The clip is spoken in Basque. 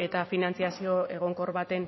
eta finantzazio egonkor baten